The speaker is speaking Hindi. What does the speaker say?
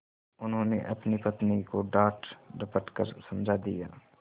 उन्होंने अपनी पत्नी को डाँटडपट कर समझा दिया